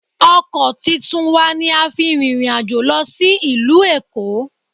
Ọkọ̀ titun wa ni a fi rìnrìn àjò lọ sí ìlú Èkó